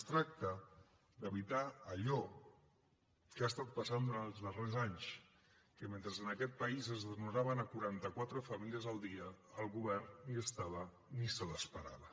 es tracta d’evitar allò que ha passat durant els darrers anys que mentre en aquest país es desnonaven quarantaquatre famílies el dia el govern ni hi era ni se l’esperava